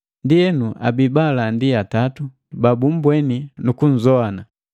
Ndienu, abii baalandi atatu babumbweni nu kunzowana: